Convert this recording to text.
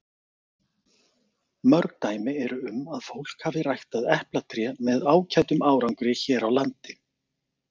Mörg dæmi eru um að fólk hafi ræktað eplatré með ágætum árangri hér á landi.